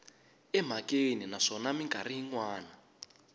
emhakeni naswona mikarhi yin wana